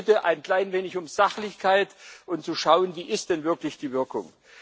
Also ich bitte ein klein wenig um Sachlichkeit und darum, zu schauen Wie ist denn wirklich die Wirkung?